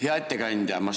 Hea ettekandja!